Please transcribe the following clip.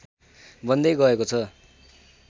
बन्दै गएको छ